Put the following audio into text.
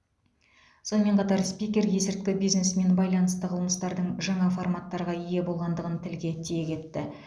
сонымен қатар спикер есірткі бизнесімен байланысты қылмыстардың жаңа форматтарға ие болғандығын тілге тиек етті